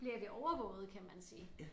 Bliver vi overvåget kan man sige